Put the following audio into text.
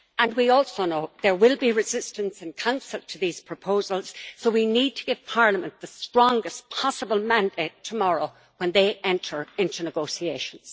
We also know that there will be resistance in Council to these proposals, so we need to give Parliament the strongest possible mandate tomorrow when they enter into negotiations.